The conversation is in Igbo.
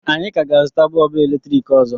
Anyị ka ga-azụta bọlbụ eletrik ọzọ